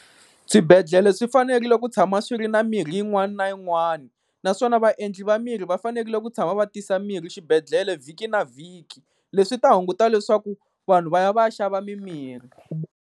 Swibedhlele swi fanerile ku tshama swi ri na mirhi yin'wana na yin'wani, naswona vaendli va mirhi va fanerile ku tshama va tisa mirhi xibedhlele vhiki na vhiki. Leswi swi ta hunguta leswaku vanhu va ya va ya xava mimirhi.